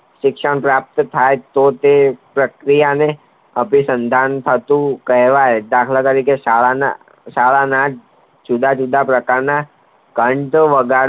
શિક્ષણ પ્રાપ્ત થાય તો તે પ્રક્રિયાને અભિસંદન થતું કહેવાય દાખલ તરીકે શાળા ના જ જુદા જુદા પ્રકારના ઘંટ વગાડતા